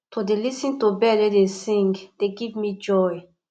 to dey lis ten to bird wey dey sing dey give me joy